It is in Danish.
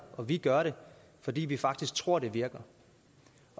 og vi gør det fordi vi faktisk tror det virker